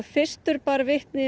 fyrstur bar vitni